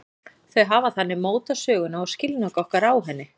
Þau hafa þannig mótað söguna og skilning okkar á henni.